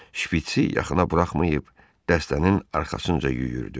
Şpiçsi yaxına buraxmayıb dəstənin arxasınca yüyürdü.